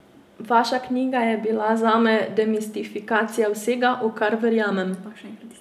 Vaša knjiga je bila zame demistifikacija vsega, v kar verjamem.